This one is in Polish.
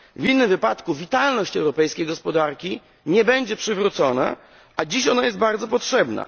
W innym wypadku witalność europejskiej gospodarki nie będzie przywrócona, a dziś ona jest bardzo potrzebna.